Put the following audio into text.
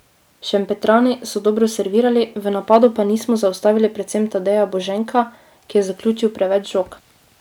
Šempetrani so dobro servirali, v napadu pa nismo zaustavili predvsem Tadeja Boženka, ki je zaključil preveč žog.